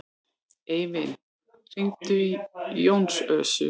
Eivin, hringdu í Jónösu.